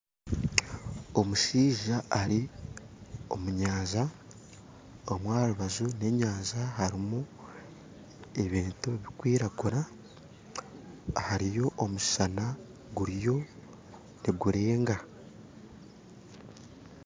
Omushaija ari omu nyanja omu aharubaju rw'enyanja harumu ebintu bikwiragura hariyo omushana guriyo nigureenga.